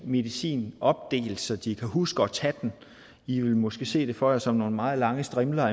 medicin opdelt så de kan huske at tage den i vil måske se det for jer som nogle meget lange strimler